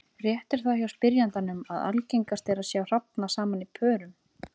Rétt er það hjá spyrjandanum að algengast er að sjá hrafna saman í pörum.